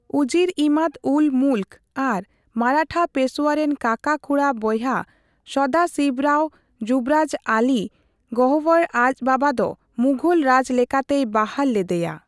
ᱩᱡᱤᱨ ᱤᱢᱟᱫᱼᱩᱞᱼᱢᱩᱞᱠ ᱟᱨ ᱢᱟᱨᱟᱴᱷᱟ ᱯᱮᱥᱳᱣᱟ ᱨᱮᱱ ᱠᱟᱠᱟᱼᱠᱷᱩᱲᱟᱹ ᱵᱚᱭᱦᱟ ᱥᱚᱫᱟᱥᱤᱵᱽᱨᱟᱣ ᱡᱩᱵᱽᱨᱟᱡᱽ ᱟᱞᱤ ᱜᱚᱣᱦᱚᱨ ᱟᱡ ᱵᱟᱵᱟ ᱫᱚ ᱢᱩᱜᱷᱚᱞ ᱨᱟᱡᱽ ᱞᱮᱠᱟᱛᱮᱭ ᱵᱟᱦᱟᱞ ᱞᱮᱫᱮᱭᱟ ᱾